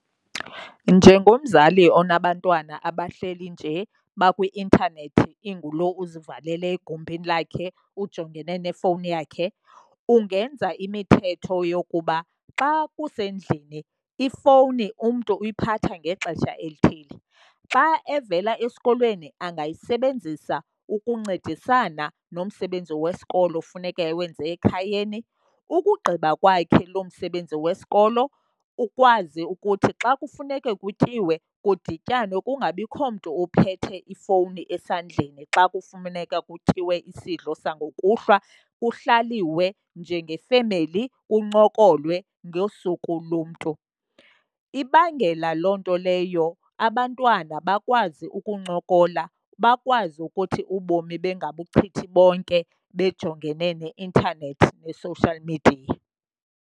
Njengomzali onabantwana abahleli nje bakwi-intanethi inguloo uzivalele egumbini lakhe ujongene nefowuni yakhe, ungenza imithetho yokuba xa kusendlini ifowuni umntu uyiphatha ngexesha elithile. Xa evela esikolweni angayisebenzisa ukuncedisana nomsebenzi wesikolo funeka ewenze ekhayeni. Ukugqiba kwakhe lo msebenzi wesikolo ukwazi ukuthi xa kufuneka kutyiwe, kudityanwe kungabikho mntu ophethe ifowuni esandleni xa kufuneka kutyiwe isidlo sangokuhlwa kuhlaliwa ke njengefemeli kuncokolwa ngosuku lomntu. Ibangela loo nto leyo abantwana bakwazi ukuncokola, bakwazi ukuthi ubomi bengabuchithe bonke bejongene ne-intanethi ne-social media.